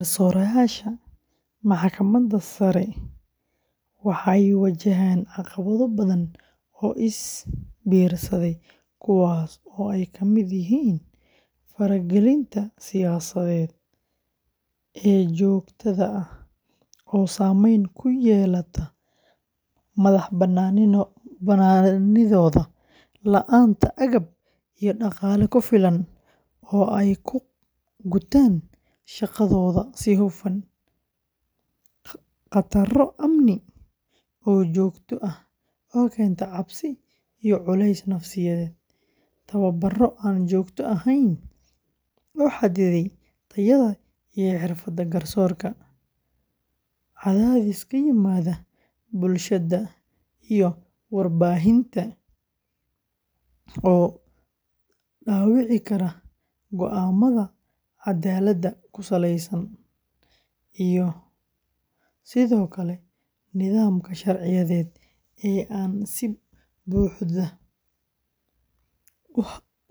Garsoorayaasha Maxkamadda Sare ee waxay wajahaan caqabado badan oo is biirsaday kuwaas oo ay ka mid yihiin faragelinta siyaasadeed ee joogtada ah oo saameyn ku yeelata madax-bannaanidooda, la'aanta agab iyo dhaqaale ku filan oo ay ku gutaan shaqadooda si hufan, khataro amni oo joogto ah oo keenta cabsi iyo culays nafsiyeed, tababarro aan joogto ahayn oo xadidaya tayada iyo xirfadda garsoorka, cadaadis ka yimaada bulshada iyo warbaahinta oo dhaawici kara go'aamada cadaaladda ku saleysan, iyo sidoo kale nidaamka sharciyeed ee aan si buuxda